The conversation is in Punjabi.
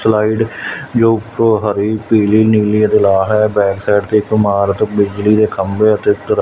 ਸਲਾਈਡ ਜੋ ਉੱਤੋਂ ਹਰੀ ਪੀਲੀ ਨੀਲੀ ਅਤੇ ਲਾਲ ਹੈ ਬੈਕ ਸਾਈਡ ਤੇ ਇੱਕ ਇਮਾਰਤ ਬਿਜਲੀ ਦੇ ਖੰਬੇ ਅਤੇ--